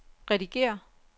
redigér